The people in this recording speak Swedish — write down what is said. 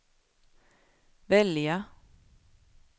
välja